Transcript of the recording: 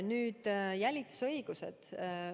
Nüüd jälitusõigused.